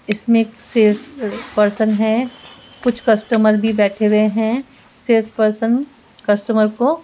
इसमें एक sales person है कुछ कस्टमर भी बैठे हुए हैं सेल्स पर्सन को --